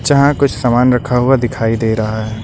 जहां कुछ सामान रखा हुआ दिखाई दे रहा है।